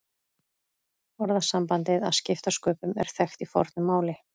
Orðasambandið að skipta sköpum er þekkt í fornu máli.